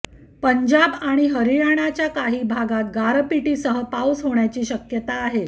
पंजाब आणि हरियाणाच्या काही भागात गारपीटीसह पाऊस होण्याची शक्यता आहे